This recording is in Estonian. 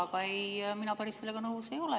Aga mina sellega päris nõus ei ole.